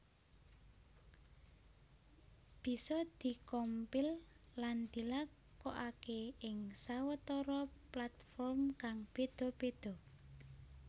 Bisa di compile lan dilakokaké ing sawetara platform kang béda béda